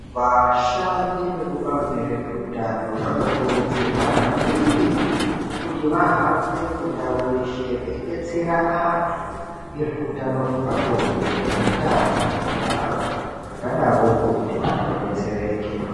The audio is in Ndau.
Vashandi vekubazi rezvehutano vanokurudzirwa maningi kuti vahambe mundau yeshe veibetsera antu ngezveutano hwepabonde neutano hwekubara, zvakadaroko kuti vantu vabetsereke.